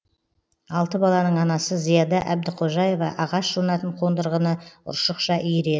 алты баланың анасы зияда әбдіқожаева ағаш жонатын қондырғыны ұршықша иіреді